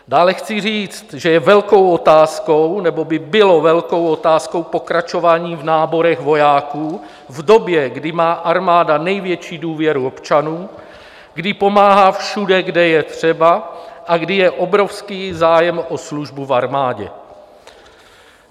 Dále chci říct, že je velkou otázkou, nebo by bylo velkou otázkou pokračování v náborech vojáků v době, kdy má armáda největší důvěru občanů, kdy pomáhá všude, kde je třeba, a kdy je obrovský zájem o službu v armádě.